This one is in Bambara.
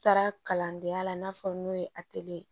Taara kalandenya la i n'a fɔ n'o ye ye